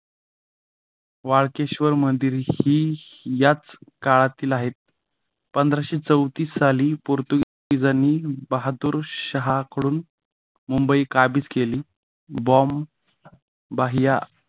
वाळकेश्वर मंदिर ही याच काळातील आहेत. पंधराशे चौतीस साली पोर्तुगीजांनी बहादूर शाहाकडून मुंबई काबीज केली. बॉम्ब बाह्य